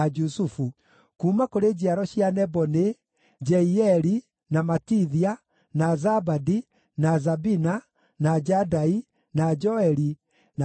Kuuma kũrĩ njiaro cia Nebo nĩ: Jeieli, na Matithia, na Zabadi, na Zabina, na Jadai, na Joeli, na Benaia.